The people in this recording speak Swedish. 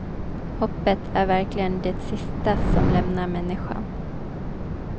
Hoppet är verkligen det sista som lämnar människan.